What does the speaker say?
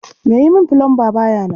Mai yi min fulamba ba ya nan